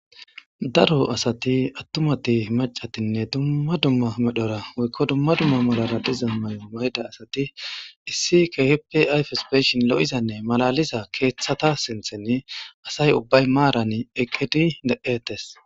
Daro asati attumati macatinne dumma dumma medhora woykko dumma dumma malara diza may7o mayda asati issi khip yfaspeshin lo'izanne malaliza keeththata sinthen asay ubbay maaran eqqidi deetes.